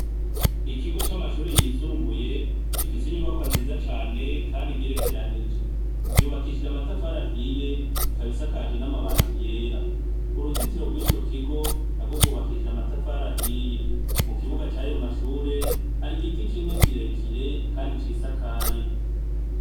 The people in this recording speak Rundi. Ikigo c'amashure yisumbuye gifise inyubakwa nziza cane kandi igerekeranije. Yubakishije amatafari ahiye ikaba isakaje n'amabati yera . Uruzitiro rw'ico kigo narwo rwubakishijwe amatafari ahiye. Mu kibuga c'ayo mashure, hari igiti kimwe kirekire kandi cisakaye.